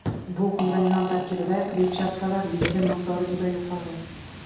Bu kulrang non tarkibida kletchatkalar, lizin miqdori juda yuqori.